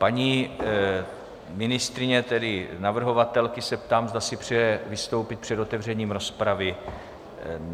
Paní ministryně, tedy navrhovatelky, se ptám, zda si přeje vystoupit před otevřením rozpravy.